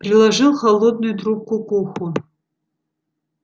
приложил холодную трубку к уху